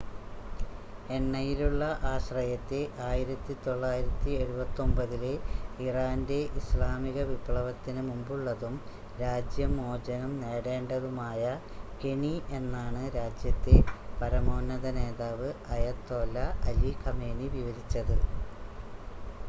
"എണ്ണയിലുള്ള ആശ്രയത്തെ 1979-ലെ ഇറാന്റെ ഇസ്ലാമിക വിപ്ലവത്തിന് മുമ്പുള്ളതും രാജ്യം മോചനം നേടേണ്ടതുമായ "കെണി" എന്നാണ് രാജ്യത്തെ പരമോന്നത നേതാവ് അയതോല്ല അലി ഖമേനി വിവരിച്ചത്.